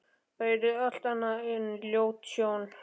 Það yrði allt annað en ljót sjón.